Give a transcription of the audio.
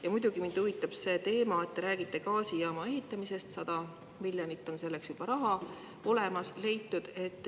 Ja muidugi mind huvitab see teema, et te räägite gaasijaama ehitamisest, 100 miljonit on selleks juba raha olemas.